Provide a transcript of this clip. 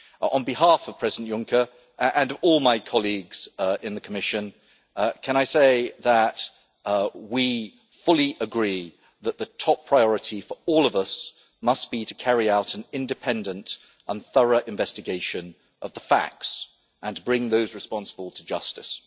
On behalf of President Juncker and all my colleagues in the Commission, can I say that we fully agree that the top priority for all of us must be to carry out an independent and thorough investigation of the facts and bring those responsible to justice?